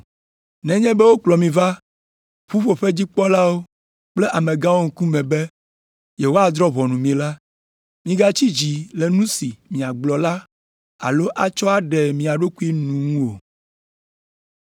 “Nenye be wokplɔ mi va ƒuƒoƒedzikpɔlawo kple amegãwo ŋkume be yewoadrɔ̃ ʋɔnu mi la, migatsi dzi le nu si miagblɔ la alo atsɔ aɖe mia ɖokui nu ŋu o.